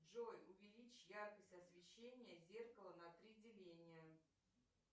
джой увеличь яркость освещения зеркала на три деления